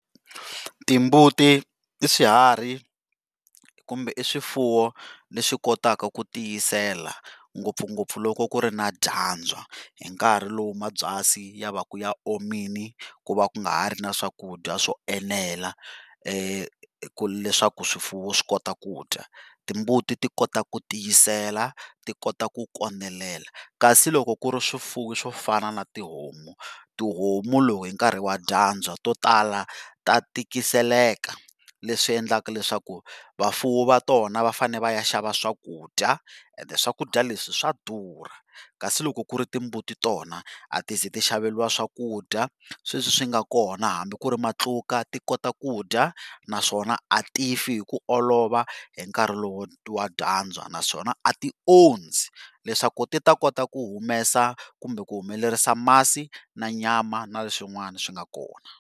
Timbuti i swiharhi kumbe swifuwo leswi kotaka ku tiyisela ngopfungopfu loko ku ri na dyandza hi nkarhi lowu mabyasi yavaka ya omile ku va ku nga ha ri swakudya swo enela leswaku swifuwo swi kota kudya. Timbuti ti kota ku tiyisela ti kota ku kondelela kasi loko ku ri swifuwo swo fana na tihomu, tihomu lowu hinkarhi wa dyandza tihomu to tala ta tikiseleka leswi endlaka leswaku vafuwi va tona va fanele va ya xava swakudya. Swakudya swa durha kasi loko ku ri timbuti tona a ti ze ti xaveriwa swakudya sweswi swi nga kona hambi ku ri matluka ti kota kudya naswona a tifi hi ku olova hinkarhi lowu wa dyandza naswona a ti ondzi leswaku ti ta kota ku humesa kumbe ku humelerisa masi na nyama na leswin'wana swi nga kona.